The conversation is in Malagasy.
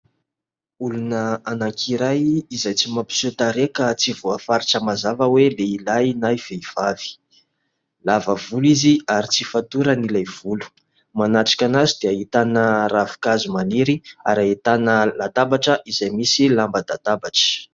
Olona anankiray izay tsy mampiseho tarehy, ka tsy voafaritra mazava hoe lehilahy na vehivavy, lava volo izy ary tsy fatorany ilay volo ; manatrika an'azy dia ahitana ravinkazo maniry ary ahitana latabatra, izay misy lamban-databatra.